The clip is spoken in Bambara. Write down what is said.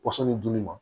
Pɔsɔnni dun ma